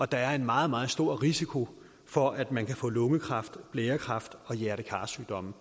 der er en meget meget stor risiko for at man kan få lungekræft blærekræft og hjerte kar sygdomme